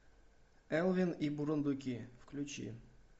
элвин и бурундуки включи